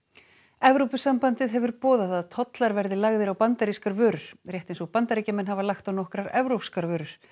Evrópusambandið hefur boðað að tollar verði lagðir á bandarískar vörur rétt eins og Bandaríkjamenn hafa lagt á nokkrar evrópskar vörur